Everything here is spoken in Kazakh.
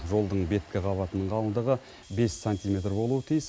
жолдың беткі қабатының қалыңдығы бес сантиметр болуы тиіс